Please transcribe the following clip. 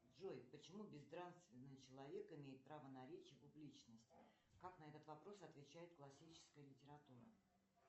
джой почему безнравственный человек имеет право на речь и публичность как на этот вопрос отвечает классическая литература